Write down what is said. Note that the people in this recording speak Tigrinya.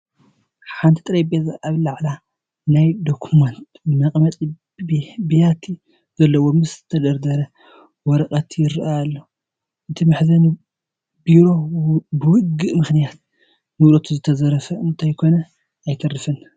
ሓንቲ ጠረሼዛ ኣብ ልዕሊኣ ናይ ዶክመንት መቐመጢ ቢያቲ ዘለዋ ምስ ዝተደርደረ ወረቓቕቲ ይርአ ኣሎ፡፡ እዚ መሕዘኒ ቢሮ ብውግእ ምኽንያት ንብረቱ ዝተዘረፈ እንተይኮነ ኣይተርፍን፡፡